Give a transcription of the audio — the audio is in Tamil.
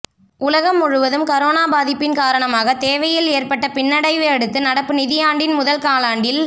உலகம் முழுவதும் கரோனா பாதிப்பின் காரணமாக தேவையில் ஏற்பட்ட பின்னடைவையடுத்து நடப்பு நிதியாண்டின் முதல் காலாண்டில்